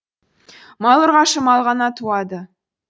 мал ұрғашы мал ғана туады